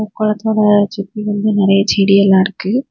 கொளத்துல சுத்தி வந்து நெறைய செடி எல்லா இருக்கு.